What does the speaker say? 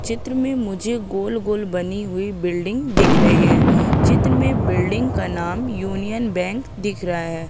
चित्र में मुझे गोल-गोल बनी हुई बिल्डिंग दिख रही है चित्र में बिल्डिंग का नाम यूनियन बैंक दिख रहा हैं।